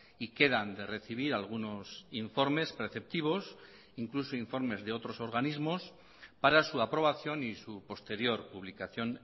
y quedan de recibir algunos informes preceptivos incluso informes de otros organismos para su aprobación y su posterior publicación